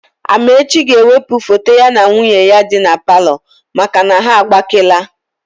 Amaechi ga-ewepụ foto ya na nwunye ya dị na palọ maka na ha agbakeela.